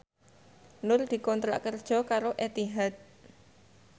Nur dikontrak kerja karo Etihad